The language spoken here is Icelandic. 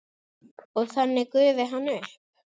Og þannig gufi hann upp?